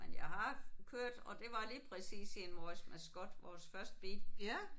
Men jeg har kørt og det var lige præcis i en Morris Mascot vores første bil